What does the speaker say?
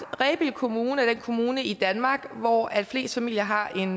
at rebild kommune er den kommune i danmark hvor flest familier har en